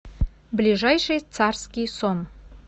ближайший царский сон